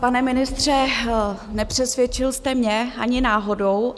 Pane ministře, nepřesvědčil jste mě ani náhodou.